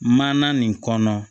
Mana nin kɔnɔ